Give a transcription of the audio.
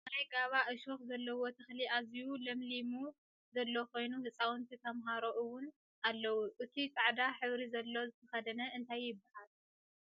ናይ ጋባ ዕሾክ ዘለዎ ተክሊ ኣዝዩ ለምሊሙ ዘሎ ኮይኑ ህፃውንቲ ተማህሮ እውን ኣለው እቱይ ፃዕዳ ሕብሪ ዘለዎ ዝተከደነ እንታይ ይብሃል?